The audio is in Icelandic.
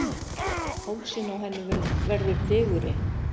Hálsinn á henni verður digurri.